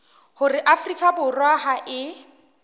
hore afrika borwa ha e